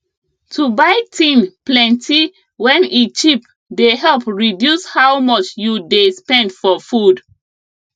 to buy thing plenty wen e cheap dey help reduce how much you dey spend for food